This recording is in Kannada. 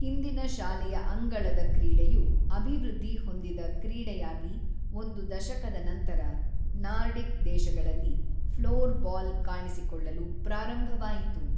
ಹಿಂದಿನ ಶಾಲೆಯ ಅಂಗಳದ ಕ್ರೀಡೆಯು ಅಭಿವೃದ್ಧಿ ಹೊಂದಿದ ಕ್ರೀಡೆಯಾಗಿ ಒಂದು ದಶಕದ ನಂತರ, ನಾರ್ಡಿಕ್ ದೇಶಗಳಲ್ಲಿ ಫ್ಲೋರ್‌ಬಾಲ್ ಕಾಣಿಸಿಕೊಳ್ಳಲು ಪ್ರಾರಂಭವಾಯಿತು